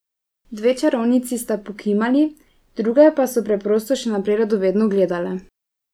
Dve čarovnici sta pokimali, druge pa so preprosto še naprej radovedno gledale.